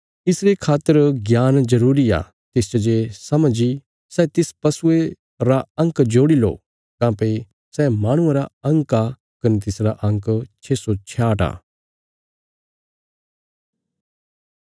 इसरे खातर ज्ञान जरूरी आ तिसच जे समझ इ सै तिस पशुये रा अंक जोड़ी लो काँह्भई सै माहणुआं रा अंक आ कने तिसरा अंक छे सौ छयाह्ट आ